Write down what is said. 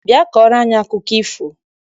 Bịa kọọrọ anyị akụkọ ifo!